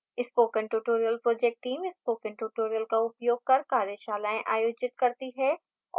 spoken tutorial project teamspoken tutorial का उपयोग कर कार्यशालाएं आयोजित करती है और